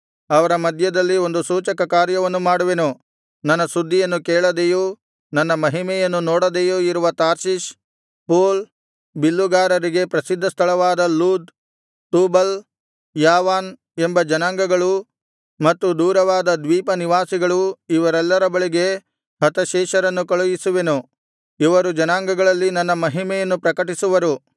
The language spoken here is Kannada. ಅವರ ಮಧ್ಯದಲ್ಲಿ ಒಂದು ಸೂಚಕಕಾರ್ಯವನ್ನು ಮಾಡುವೆನು ನನ್ನ ಸುದ್ದಿಯನ್ನು ಕೇಳದೆಯೂ ನನ್ನ ಮಹಿಮೆಯನ್ನು ನೋಡದೆಯೂ ಇರುವ ತಾರ್ಷೀಷ್ ಪೂಲ್ ಬಿಲ್ಲುಗಾರರಿಗೆ ಪ್ರಸಿದ್ಧಸ್ಥಳವಾದ ಲೂದ್ ತೂಬಲ್ ಯಾವಾನ್ ಎಂಬ ಜನಾಂಗಗಳು ಮತ್ತು ದೂರವಾದ ದ್ವೀಪನಿವಾಸಿಗಳು ಇವರೆಲ್ಲರ ಬಳಿಗೆ ಹತಶೇಷರನ್ನು ಕಳುಹಿಸುವೆನು ಇವರು ಜನಾಂಗಗಳಲ್ಲಿ ನನ್ನ ಮಹಿಮೆಯನ್ನು ಪ್ರಕಟಿಸುವರು